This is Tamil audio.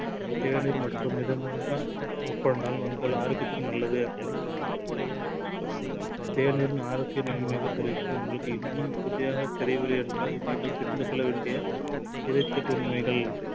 தேநீர் மட்டும் மிதமாக உட்கொண்டால் உங்கள் ஆரோக்கியத்திற்கு நல்லது. தேநீரின் ஆரோக்கிய நன்மைகள் குறித்து உங்களுக்கு இன்னும் உறுதியாக தெரியவில்லை என்றால் நீங்கள் தெரிந்துகொள்ள வேண்டிய இருபத்தெட்டு உண்மைகள்